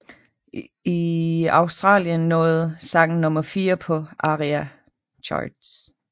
I Australien nåede sangen nummer fire på ARIA Charts